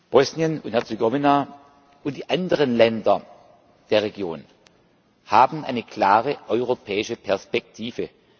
Bosnien und Herzegowina und die anderen Länder der Region haben eine klare europäische Perspektive.